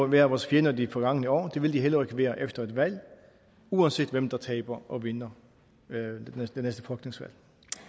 været vores fjender de forgangne år og det vil de heller ikke være efter valget uanset hvem der taber og vinder det næste folketingsvalg